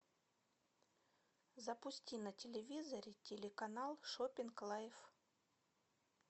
запусти на телевизоре телеканал шоппинг лайф